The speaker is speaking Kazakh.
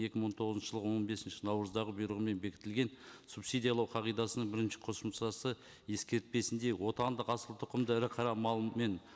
екі мың он тоғызыншы жылғы он бесінші наурыздағы бұйрығымен бекітілген субсидиялау қағидасына бірінші қосымшасы ескертпесінде отандық асылтұқымды ірі қара малмен